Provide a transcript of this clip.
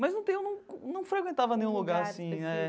Mas não tem um... num frequentava nenhum lugar assim, né?